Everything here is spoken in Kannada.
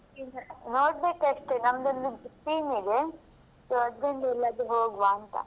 ನೋಡ್ಬೇಕು ಅಷ್ಟೇ ನಮ್ದು ಒಂದು team ಇದೆ so ಅದ್ರಲ್ಲಿ ಎಲ್ಲಾದ್ರೂ ಹೋಗ್ವಾಂತ.